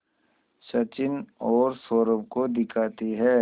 सचिन और सौरभ को दिखाती है